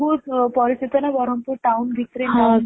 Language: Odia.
ବହୁତ ପରିଚିତ ନ ବ୍ରହ୍ମପୁର town ଭିତରେ